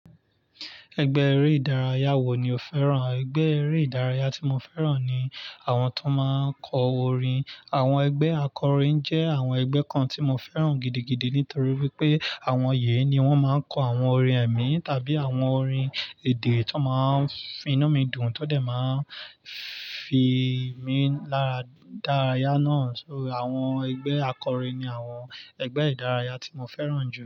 Ẹgbẹ́ eré ìdárayá wo ni o fẹ́ràn? Ẹgbẹ́ eré ìdárayá tí mo fẹ́ràn ni àwọn tó máa ń kọ orin. Àwọn ẹgbẹ́ akọrin jẹ́ àwọn ẹgbẹ́ kan tí mo fẹ́ràn gidigidi nítorí pé àwọn yẹn ni wọ́n máa ń kọ àwọn orin ẹ̀mí tàbí àwọn orin èdè tó máa ń fi iná mi dùn tọ́ dẹ̀ máa ń fi mí lára dárayá náà. So àwọn ẹgbẹ́ akọrin ni àwọn ẹgbẹ́ ìdárayá tí mo fẹ́ràn jù.